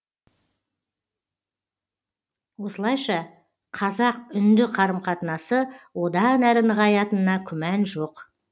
осылайша қазақ үнді қарым қатынасы одан әрі нығаятынына күмән жоқ